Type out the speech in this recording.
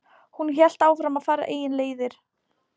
Hún hélt áfram að fara eigin leiðir.